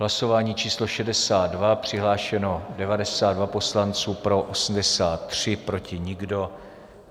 Hlasování číslo 62, přihlášeno 92 poslanců, pro 83, proti nikdo.